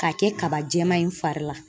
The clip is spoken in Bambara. K'a kɛ kaba jɛma in fari la.